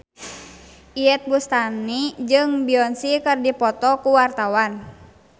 Iyeth Bustami jeung Beyonce keur dipoto ku wartawan